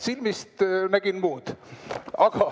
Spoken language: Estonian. Silmist nägin muud ...